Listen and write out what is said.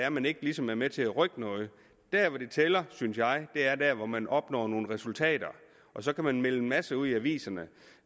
at man ikke ligesom er med til at rykke noget der hvor det tæller synes jeg er der hvor man opnår nogle resultater så kan man melde en masse ud i aviserne